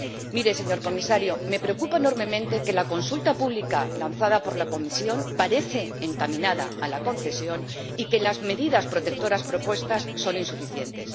Mire, señor Comisario, me preocupa enormemente que la consulta pública lanzada por la Comisión parezca encaminada a la concesión y que las medidas protectoras propuestas sean insuficientes.